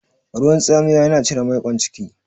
Ruwan tsamiya yana cire maiƙon ciki.